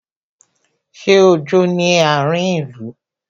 Ṣé o jó ní àárin ìlú?